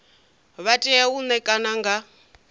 vha tea u ṋekana nga